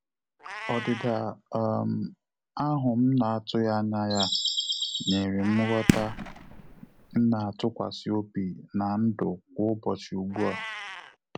Ọdịda um ahụ m na-atụghị anya ya nyere m nghọta m na-atụkwasị obi na ndụ kwa ụbọchị ugbua